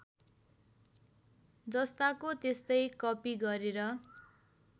जस्ताको त्यस्तै कपि गरेर